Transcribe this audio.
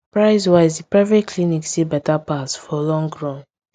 price wise the private clinic still better pass for long run